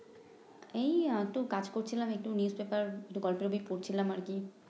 এই একটু কাজ করছিলাম একটু নিউজপেপার একটু গল্পের বই পরছিলাম আর কি